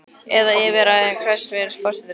Eða yfir ræðum hæstvirts forsætisráðherra?